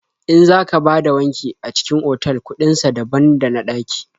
In za ka bada wanki a cikin otal kuɗin sa daban da na ɗaƙi.